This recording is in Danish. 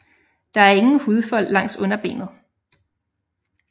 Der er ingen hudfold langs underbenet